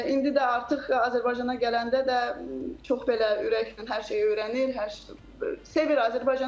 İndi də artıq Azərbaycana gələndə də çox belə ürəklə hər şeyi öyrənir, hər şeyi sevir.